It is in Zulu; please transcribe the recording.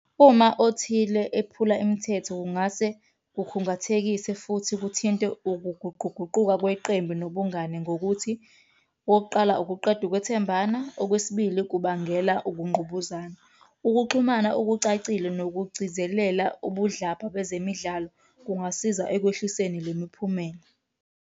Uma othile ephula imithetho kungase kukhungathekise futhi kuthinte ukuguquguquka kweqembu nobungani ngokuthi, okokuqala ukuqeda ukwethembana. Okwesibili, kubangela ukungqubuzana. Ukuxhumana okucacile nokugcizelela ubudlabha bezemidlalo kungasiza ekwehliseni le miphumela.